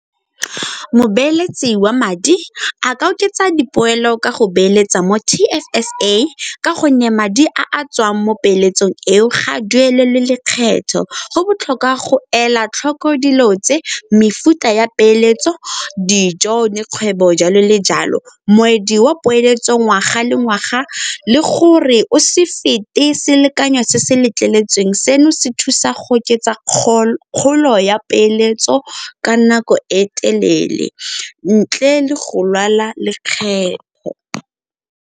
Mobeeletsi wa madi a ka oketsa dipoelo ka go beeletsa mo T_F_S_A ka gonne madi a a tswang mo peeletsong eo ga a duelelwe lekgetho. Go botlhokwa go ela tlhoko dilo tse, mefuta ya peeletso, dijo le kgwebo, jalo le jalo. Moedi wa poeletso ngwaga le ngwaga le gore o se fete selekanyo se se letleletsweng, seno se thusa go oketsa kgolo ya peeletso ka nako e telele ntle le go lwala lekgetho.